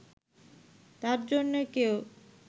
তার জন্য কেউ